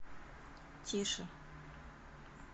тише